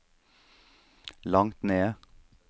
langt ned